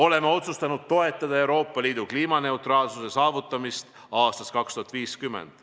Oleme otsustanud toetada Euroopa Liidu kliimaneutraalsuse saavutamist aastaks 2050.